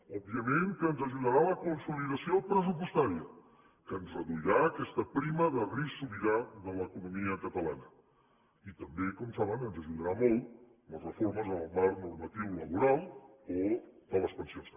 òbviament que ens ajudarà la consolidació pressupostària que ens reduirà aquesta prima de risc sobirà de l’economia catalana i també com saben ens ajudaran molt les reformes en el marc normatiu laboral o de les pensions també